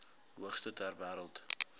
hoogste ter wêreld